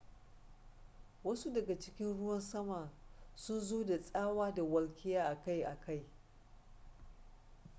wasu daga cikin ruwan sama sun zo da tsawa da walƙiya akai-akai